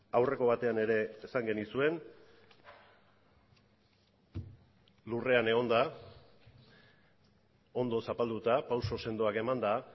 aurreko batean ere esan genizuen lurrean egonda ondo zapalduta pauso sendoak emanda